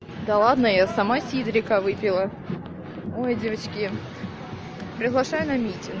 да ладно я сама сидрика выпила ой девочки приглашаю на митинг